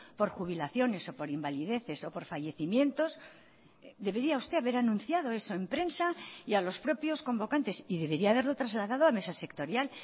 por jubilaciones o por invalideces o por fallecimientos debería usted haber anunciado eso en prensa y a los propios convocantes y debería haberlo trasladado a mesas sectorial